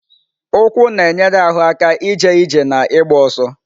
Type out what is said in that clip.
Ụkwụ na-enyere ahụ aka ije ije na ịgba ọsọ.